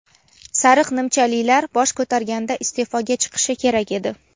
"sariq nimchalilar" bosh ko‘targanda iste’foga chiqishi kerak edi.